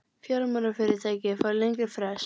Fjármálafyrirtæki fá lengri frest